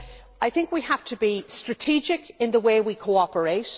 I think we have to be strategic in the way we cooperate.